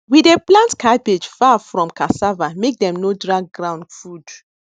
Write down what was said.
we dey plant cabbage far fromcassava make dem no drag ground food